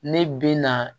Ne bɛ na